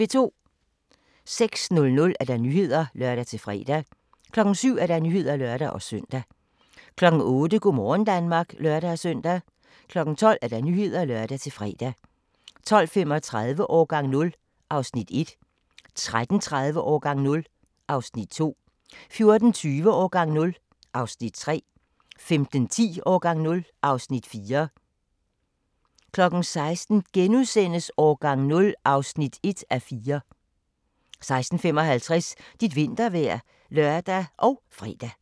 06:00: Nyhederne (lør-fre) 07:00: Nyhederne (lør-søn) 08:00: Go' morgen Danmark (lør-søn) 12:00: Nyhederne (lør-fre) 12:35: Årgang 0 (Afs. 1) 13:30: Årgang 0 (Afs. 2) 14:20: Årgang 0 (Afs. 3) 15:10: Årgang 0 (Afs. 4) 16:00: Årgang 0 (1:4)* 16:55: Dit vintervejr (lør og fre)